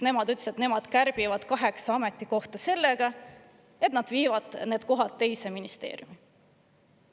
Nemad ütlesid, et nemad kärbivad kaheksa ametikohta sellega, et nad viivad need kohad teise ministeeriumi üle.